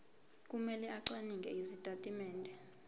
kumele acwaninge izitatimende